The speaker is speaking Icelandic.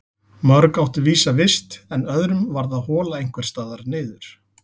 Mörg áttu vísa vist en öðrum varð að hola einhvers staðar niður.